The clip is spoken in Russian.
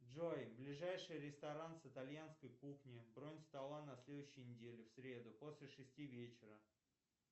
джой ближайший ресторан с итальянской кухней бронь стола на следующей неделе в среду после шести вечера